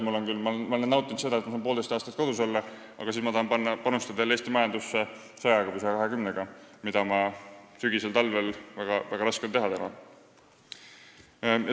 Ma olen küll praeguses eas nautinud seda, et ma saan poolteist aastat kodus olla, aga siis ma tahan jälle Eesti majandusse saja või saja kahekümnega panustada, mida mul on tuleval sügisel ja talvel väga raske teha.